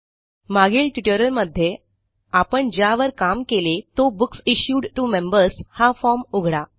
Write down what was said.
मागील ट्युटोरियलमध्ये आपण ज्यावर काम केले तो बुक्स इश्यूड टीओ मेंबर्स हा फॉर्म उघडा